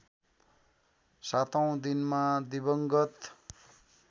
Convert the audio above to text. सातौँ दिनमा दिवंगत